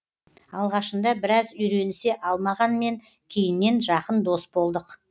алғашында біраз үйренісе алмағанмен кейіннен жақын дос болдық